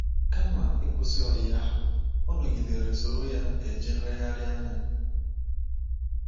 Kama ịkwụsị ọyi ahụ, ọ nọgidere soro ya eje nlegharị anya.